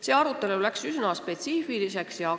See arutelu läks üsna spetsiifiliseks.